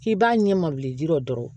K'i b'a ɲɛ ma bilen dɔrɔn